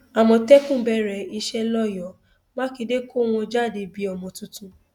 àmọtẹkùn bẹrẹ iṣẹ lọyọọ mákindé kọ wọn jáde bíi ọmọ tuntun